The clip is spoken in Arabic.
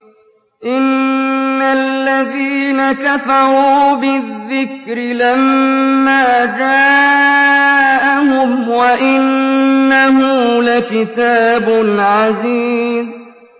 إِنَّ الَّذِينَ كَفَرُوا بِالذِّكْرِ لَمَّا جَاءَهُمْ ۖ وَإِنَّهُ لَكِتَابٌ عَزِيزٌ